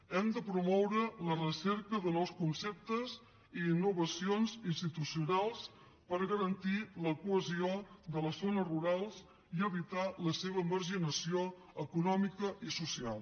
hem de promoure la recerca de nous conceptes i innovacions institucionals per garantir la cohesió de les zones rurals i evitar la seva marginació econòmica i social